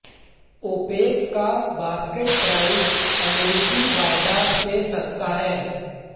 OPEC का basket price अमेरिकी वायदा से सस्ता है